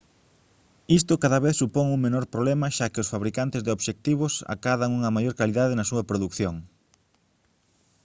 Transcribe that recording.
isto cada vez supón un menor problema xa que os fabricantes de obxectivos acadan unha maior calidade na súa produción